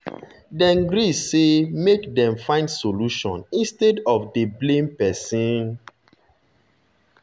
dem gree say make dem find solution instead of dey blame person.